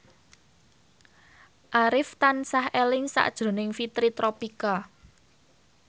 Arif tansah eling sakjroning Fitri Tropika